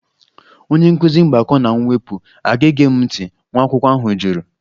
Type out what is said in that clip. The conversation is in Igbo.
Onye nkụzi mgbakọ na mwepụ aga-ege m ntị? nwa akwụkwọ ahụ jụrụ